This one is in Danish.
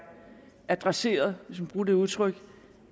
adresseret hvis man kan bruge det udtryk